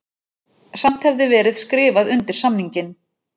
Samt hefði verið skrifað undir samninginn